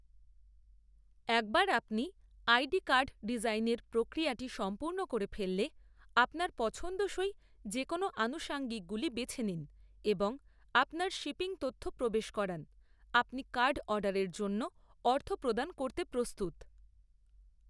একবার আপনি ID card ডিজাইনের প্রক্রিয়াটি সম্পূর্ণ করে ফেললে, আপনার পছন্দসই যেকোন আনুষাঙ্গিকগুলি বেছে নিন এবং আপনার শিপিং তথ্য প্রবেশ করান, আপনি কার্ড অর্ডারের জন্য অর্থ প্রদান করতে প্রস্তুত৷